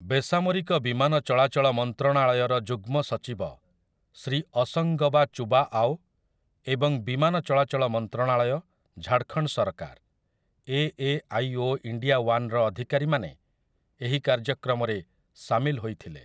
ବେସାମରିକ ବିମାନ ଚଳାଚଳ ମନ୍ତ୍ରଣାଳୟର ଯୁଗ୍ମ ସଚିବ ଶ୍ରୀ ଅସଂଗବା ଚୁବା ଆଓ ଏବଂ ବିମାନ ଚଳାଚଳ ମନ୍ତ୍ରଣାଳୟ, ଝାଡଖଣ୍ଡ ସରକାର, ଏ ଏ ଆଇ ଓ ଇଣ୍ଡିଆ ୱାନ୍‌ର ଅଧିକାରୀମାନେ ଏହି କାର୍ଯ୍ୟକ୍ରମରେ ସାମିଲ ହୋଇଥିଲେ ।